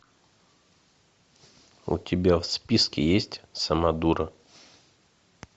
у тебя в списке есть сама дура